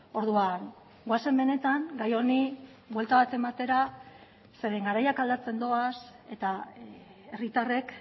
orduan goazen benetan gai honi buelta bat ematera zeren garaiak aldatzen doaz eta herritarrek